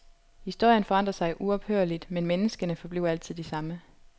Historien forandrer sig uophørligt, men menneskene forbliver altid de samme.